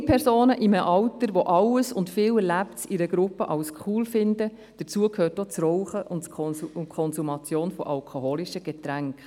Junge Personen erleben vieles in der Gruppe, dazu gehört auch Rauchen und die Konsumation alkoholischer Getränke.